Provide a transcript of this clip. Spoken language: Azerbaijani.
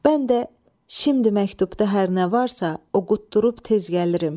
Mən də şimdi məktubda hər nə varsa, o quddurub tez gəlirim.